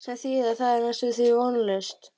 Sem þýðir að það er næstum því vonlaust.